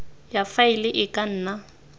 ya faele e ka nna